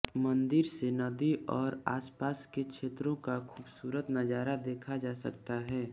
मंदिर से नदी और आसपास के क्षेत्रों का खूबसूरत नजारा देखा जा सकता है